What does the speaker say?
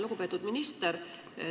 Lugupeetud minister!